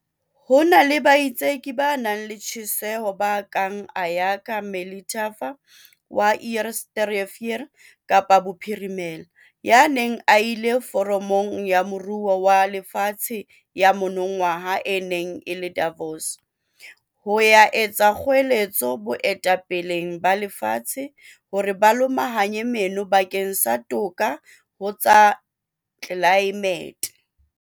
Ho na le baitseki ba nang le tjheseho ba kang Ayakha Melithafa wa Eerste Rivier Kapa Bophirimela, ya neng a ile Foramong ya Moruo wa Lefatshe ya monongwaha e neng e le Davos, ho ya etsa kgoeletso baetapeleng ba lefatshe hore ba lomahanye meno bakeng sa toka ho tsa tlelaemete.